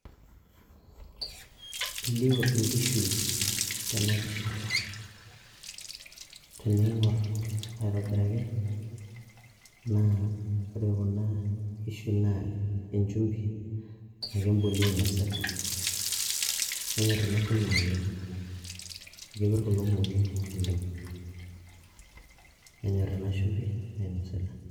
elio inkishu tenapisha tening'orr aitobiraki naa ore kuna kishu naa enchumbi anake emboliei inosita nenyorr ena boliei naleng amu kepirr kulo mong'i oleng nenyorr ena shumbi nainosita.